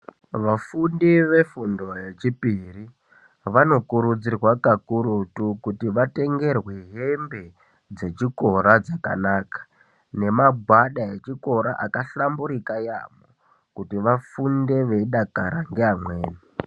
Vafundi vefundo yechipiri vanokurudzirwa kakutu kuti vatengerwe hembe dzechikora dzakanaka nemagwada echikora akahlamburika kwemene kuti vafunde veidakara nevamweni.